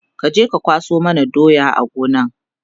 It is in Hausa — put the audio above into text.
kaje ka kwaso mana doyan a Gona!